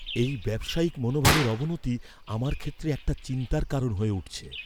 এই ব্যবসায়িক মনোভাবের অবনতি আমার ক্ষেত্রে একটা চিন্তার কারণ হয়ে উঠছে।